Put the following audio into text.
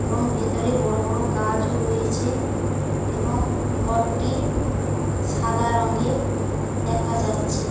এবং ভিতরে বড় বড় গাজ রয়েছে এবং ঘরটি সাদা রংয়ের দেখা যাচ্ছে।